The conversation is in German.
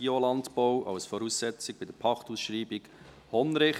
«Biolandbau als Voraussetzung bei der Pachtausschreibung Hondrich».